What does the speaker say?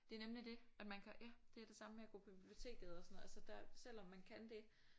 Det er nemlig det at man kan ja det er det samme med at gå på biblioteket og sådan noget altså der selvom man kan det